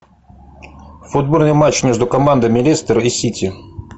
футбольный матч между командами лестер и сити